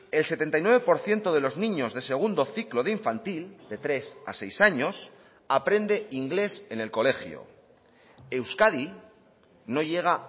el setenta y nueve por ciento de los niños de segundo ciclo de infantil de tres a seis años aprende inglés en el colegio euskadi no llega